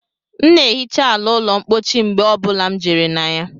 M na ehicha ala ụlọ mpochi mgbe ọ bụla m jere na ya